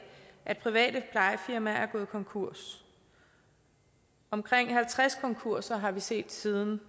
at private plejefirmaer er gået konkurs omkring halvtreds konkurser har vi set siden